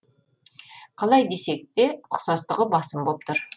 қалай десек те ұқсастығы басым боп тұр